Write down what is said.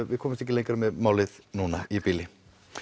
við komumst ekki lengra með málið í bili